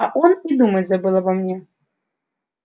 а он и думать забыл обо мне